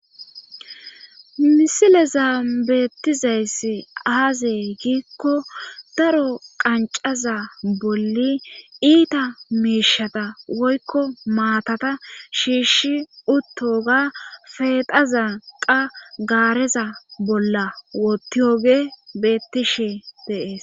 misilezan beettizayss aze giikko daro qancaza bolli iita miishata woykko maatata shiishi uttoga feexaza qa gaareza bolla wotiyoge bettishe dee'es